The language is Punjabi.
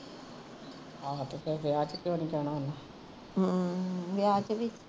ਆਹੋ ਤੇ ਫੇਰ ਵਿਆਹ ਤੇ ਕਿਉ ਨੀ ਜਾਣਾ ਹੁਣ